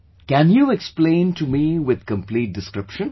Can you explain to me with complete description